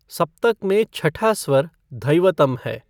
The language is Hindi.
सप्तक में छठा स्वर धैवतम है।